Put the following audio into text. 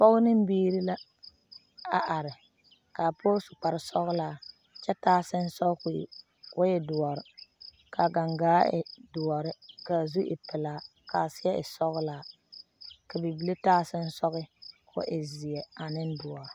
pɔgɔ ne biiri la a are kaa pɔge su kpare sɔglaa kyɛ taa sensɔ kɔ e doɔre, kaa gangaa e doɔre kaa zu e pelaa kaa seɛ e sɔglaa ka bibilii taa sensoga kɔɔ zeɛ 😃😃